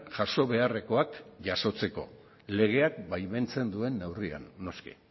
jaso beharrekoak jasotzeko legeak baimentzen duen neurrian noski